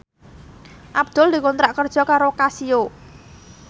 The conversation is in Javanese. Abdul dikontrak kerja karo Casio